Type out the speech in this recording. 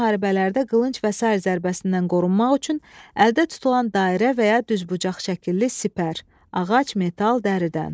Qədim müharibələrdə qılınc və sair zərbəsindən qorunmaq üçün əldə tutulan dairə və ya düzbucaqlı şəkilli sipər, ağac, metal, dəridən.